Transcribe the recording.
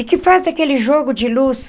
E que faz aquele jogo de luz.